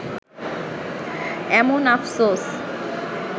এমন আফসোস